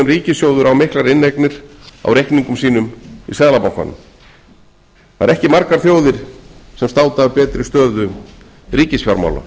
ríkissjóður á miklar inneignir á reikningum sínum í seðlabankanum það eru ekki margar þjóðir sem státa af betri stöðu ríkisfjármála